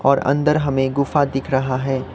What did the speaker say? और अंदर हमें गुफा दिख रहा है।